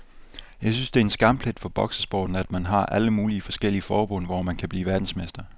Jeg synes det er en skamplet for boksesporten, at man har alle mulige forskellige forbund, hvor man kan blive verdensmester.